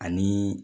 Ani